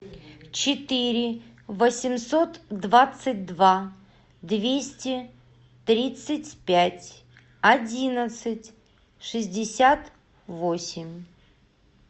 четыре восемьсот двадцать два двести тридцать пять одиннадцать шестьдесят восемь